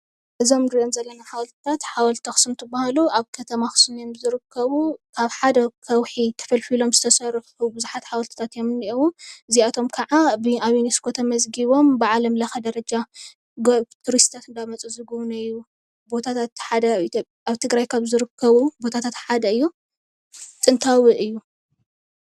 እዞም እንሪኦም ዘለና ሓወልቲታት ሓወልቲ ኣክሱም እንትባሃሉ ኣብ ከተማ ኣክሱም እዮም ዝርከቡ፡፡ ካብ ሓደ ከውሒ ተፈልፊሎም ዝተሰርሑ ቡዙሓት ሓወልትታት እዮም ዝንሄዉ፡፡ እዚኣቶም ከዓ ኣብ ዩኒስኮ ተመዝጊቦም ብዓለም ለከ ደረጃ ቱሩስትታት እንዳመፁ ዝግብንይዎም ቦታታት ኣብ ትግራይ ካብ ዝርከቡ ቦታታት ሓደ እዩ ጥንታዊ እዩ፡፡